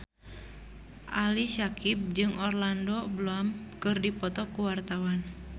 Ali Syakieb jeung Orlando Bloom keur dipoto ku wartawan